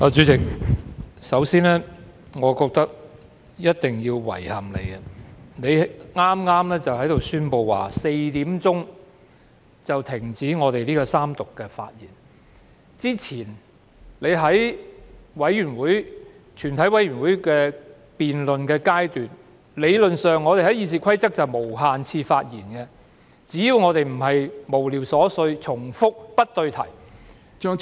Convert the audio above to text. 主席，首先，我認為一定要向你表示遺憾，你剛才宣布在4時便要停止三讀辯論的發言時間，而之前在全體委員會審議階段的辯論時，理論上《議事規則》是容許我們作無限次發言的，只要我們的內容非無聊、瑣碎、重複和不對題。